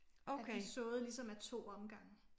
At vi såede ligesom af 2 omgange